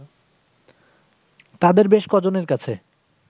তাদের বেশ ক'জনের কাছে